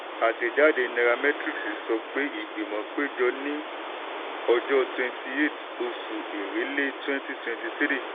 àtẹ̀jáde nairametrics sọ pé ìgbìmọ̀ péjọ ní ọjọ́ twenty eight ọsù èrèlé twenty twenty three.